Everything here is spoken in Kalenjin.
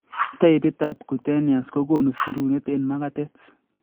Taipit ab cutaneous kokonu sirunet ab makatet